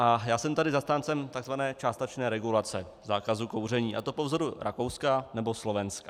A já jsem tady zastáncem tzv. částečné regulace zákazu kouření, a to po vzoru Rakouska nebo Slovenska.